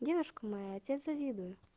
девушка моя тебе завидует